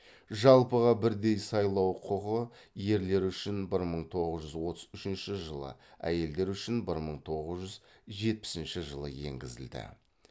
жалпыға бірдей сайлау құқы ерлер үшін бір мың тоғыз жүз отыз үшінші жылы әйелдер үшін бір мың тоғыз жүз жетпісінші жылы енгізілді